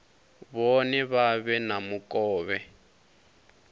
vhone vha vhe na mukovhe